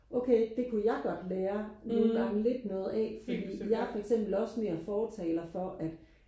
okay det kunne jeg godt lære nogen gange lidt noget af fordi jeg er for eksempel også mere fortaler for at